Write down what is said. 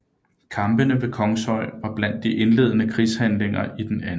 Kampene ved Kongshøj var blandt de indledende krigshandlinger i den 2